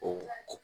O